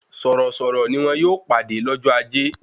Sọ̀rọ̀-sọ̀rọ̀ ni wọ́n yóò pàdé lọ́jọ́ ajé